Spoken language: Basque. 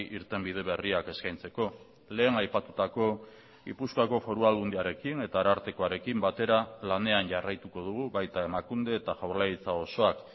irtenbide berriak eskaintzeko lehen aipatutako gipuzkoako foru aldundiarekin eta arartekoarekin batera lanean jarraituko dugu baita emakunde eta jaurlaritza osoak